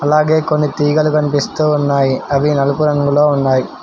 అలాగే కొన్ని తీగలు కనిపిస్తూ ఉన్నాయి అవి నలుపు రంగులో వున్నాయ్.